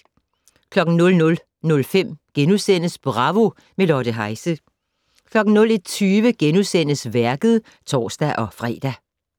00:05: Bravo - med Lotte Heise * 01:20: Værket *(tor-fre)